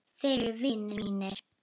Þeir eru vinir mínir.